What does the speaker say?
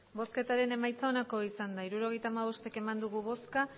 hirurogeita hamabost eman dugu bozka